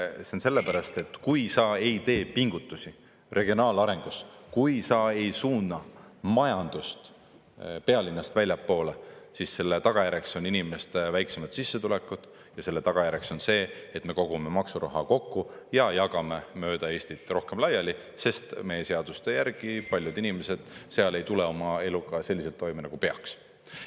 See on sellepärast, et kui sa ei tee pingutusi regionaalarengus, kui sa ei suuna majandust pealinnast väljapoole, siis selle tagajärjeks on inimeste väiksemad sissetulekud, ja selle tagajärjeks on see, et me kogume maksuraha kokku ja jagame mööda Eestit rohkem laiali, sest meie seaduste järgi paljud inimesed seal ei tule oma eluga toime nagu peaks.